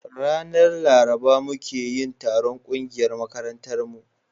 ranar laruba muke yin taron ƙungiyar makarantar mu